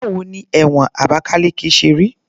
Báwo ni ẹ̀wọ̀n Abakaliki ṣe rí?